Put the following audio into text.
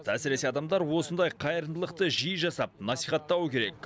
әсіресе адамдар осындай қайырымдылықты жиі жасап насихаттауы керек